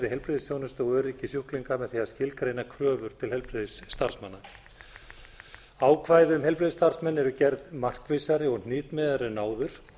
heilbrigðisþjónustu og öryggi sjúklinga með því að skilgreina kröfur til heilbrigðisstarfsmanna ákvæði um heilbrigðisstarfsmenn eru gerð gerð markvissari og hnitmiðaðri en áður